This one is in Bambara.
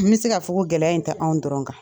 N bɛ se ka fɔ ko gɛlɛya in tɛ anw dɔrɔn kan.